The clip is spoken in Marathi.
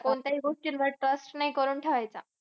हो, कोणत्याही गोष्टींवर trust नाही करून ठेवायचा.